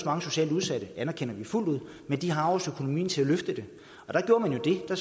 mange socialt udsatte det anerkender vi fuldt ud men de har også økonomien til at løfte det og der gjorde man jo det at